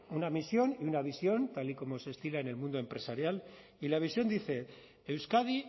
una misión y una visión tal y como se estila en el mundo empresarial y la visión dice euskadi